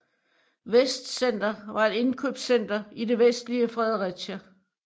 Vestcenter var et indkøbscenter i det vestlige Fredericia